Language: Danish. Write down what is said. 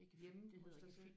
Hos dig selv?